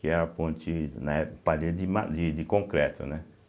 Que é a ponte, na época, parede de ma de de concreto, né?